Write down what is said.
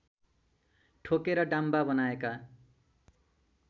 ठोकेर डाम्बा बनाएका